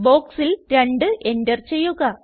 ബോക്സിൽ 2 എന്റർ ചെയ്യുക